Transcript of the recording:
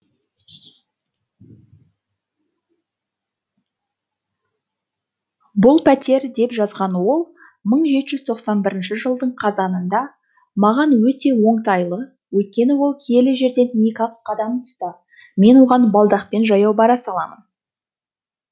бұл пәтер деп жазған ол мың жеті жүз тоқсан бірінші жылдың қазанында маған өте оңтайлы өйткені ол киелі жерден екі ақ қадам тұста мен оған балдақпен жаяу бара саламын